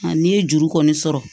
A n'i ye juru kɔni sɔrɔ